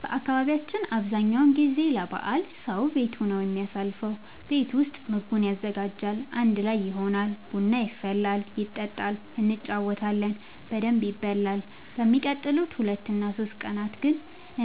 በአካባቢያችን አብዛኛው ጊዜ ለበዓል ሰዉ ቤቱ ነው የሚያሳልፈው። ቤት ውስጥ ምግቡን ያዘጋጃል፣ አንድ ላይ ይሆናል፣ ቡና ይፈላል ይጠጣል እንጫወታለን በደንብ ይበላል በሚቀጥሉት ሁለት እና ሶስት ቀናት ግን